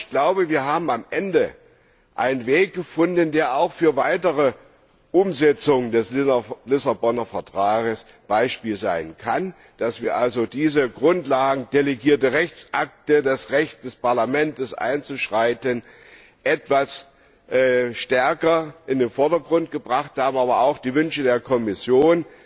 Aber wir haben am Ende einen Weg gefunden, der auch für weitere Umsetzungen des Vertrags von Lissabon Beispiel sein kann, dass wir also diese Grundlagen delegierte Rechtsakte, das Recht des Parlaments einzuschreiten etwas stärker in den Vordergrund gebracht, aber auch die Wünsche der Kommission,